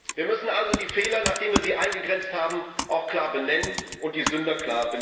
Wir müssen also die Fehler, nachdem wir sie eingegrenzt haben, auch klar benennen, ebenso die Sünder.